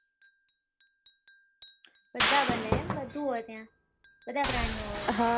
બધા મળે એવું બધું હોય ત્યાં બધા પ્રાણિયો હોય